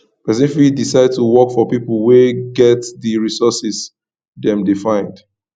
persin fit decide to work for pipo wey get di resources dem de find